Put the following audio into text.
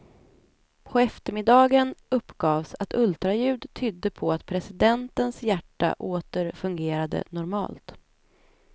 På eftermiddagen uppgavs att ultraljud tydde på att presidentens hjärta åter fungerade normalt.